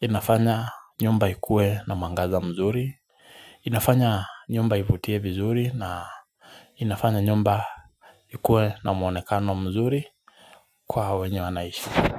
inafanya nyumba ikuwe na mwangaza mzuri inafanya nyumba ivutie vizuri na inafanya nyumba ikuwe na muonekano mzuri kwa wenye wanaishi.